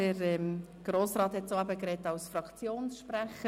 Grossrat Klopfenstein hatte das Wort als Fraktionssprecher.